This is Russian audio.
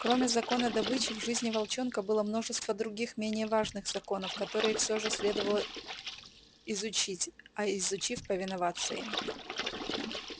кроме закона добычи в жизни волчонка было множество других менее важных законов которые все же следовало изучить а изучив повиноваться им